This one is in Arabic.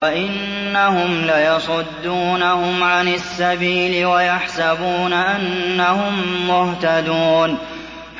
وَإِنَّهُمْ لَيَصُدُّونَهُمْ عَنِ السَّبِيلِ وَيَحْسَبُونَ أَنَّهُم مُّهْتَدُونَ